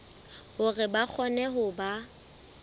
hore ba kgone ho ba